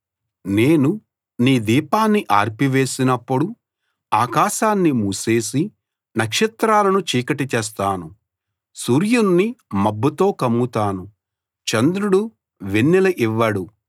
నేను నీ దీపాన్ని ఆర్పివేసినప్పుడు ఆకాశాన్ని మూసేసి నక్షత్రాలను చీకటి చేస్తాను సూర్యుణ్ణి మబ్బుతో కమ్ముతాను చంద్రుడు వెన్నెల ఇవ్వడు